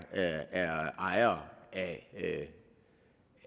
ejere